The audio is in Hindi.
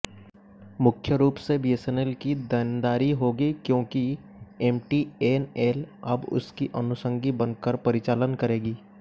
मुख्य रूप से बीएसएनएल की देनदारी होगी क्योंकि एमटीएनएल अब उसकी अनुषंगी बनकर परिचालन करेगी